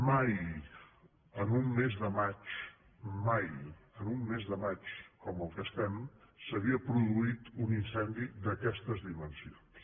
mai en un mes de maig mai en un mes de maig com el que estem s’havia produït un incendi d’aquestes dimensions